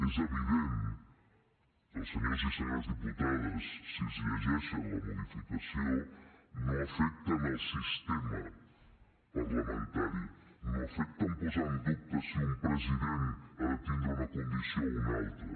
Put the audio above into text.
és evident que els senyors i senyores diputades si es llegeixen la modificació no afecta en el sistema parlamentari no afecta en posar en dubte si un president ha de tindre una condició o una altra